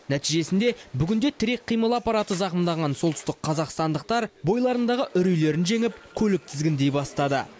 нәтижесінде бүгінде тірек қимыл аппараты зақымданған солтүстік қазақстандықтар бойларындағы үрейлерін жеңіп көлік тізгіндей бастады